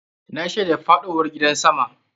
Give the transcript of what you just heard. Na shaida faɗowar gidan sama.